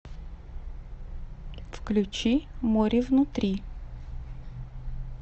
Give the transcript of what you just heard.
включи моревнутри